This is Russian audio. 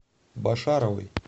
башаровой